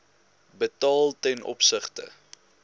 betaal ten opsigte